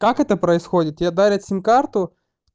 как это происходит тебе дарят сим карту